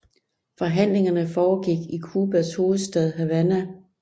Forhandlingerne foregik i Cubas hovedstad Havana